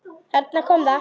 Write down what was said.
Þarna kom það!